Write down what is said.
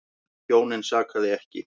Hjónin sakaði ekki.